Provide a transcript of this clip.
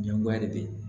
Ɲɛngoya de bɛ